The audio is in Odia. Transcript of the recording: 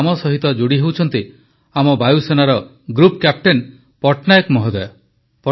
ତେଣୁ ଆମ ସହିତ ଯୋଡ଼ି ହେଉଛନ୍ତି ଆମ ବାୟୁସେନାର ଗ୍ରୁପ୍ କ୍ୟାପଟେନ ପଟ୍ଟନାୟକ ମହୋଦୟ